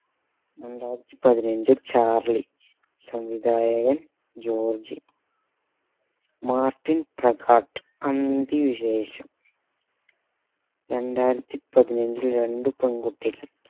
രണ്ടായിരത്തി പതിനഞ്ചിൽ ചാർളി സംവിധായകൻ ജോർജ് മാർട്ടിൻ പ്രക്കാട്ട് അന്തി വിശേഷം രണ്ടായിരത്തി പതിനഞ്ചിൽ രണ്ട് പെൺകുട്ടികൾ